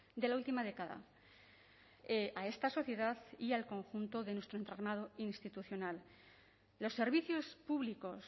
de la última década a esta sociedad y al conjunto de nuestro entramado institucional los servicios públicos